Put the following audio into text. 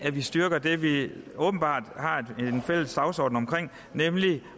styrker det vi åbenbart har en fælles dagsorden om nemlig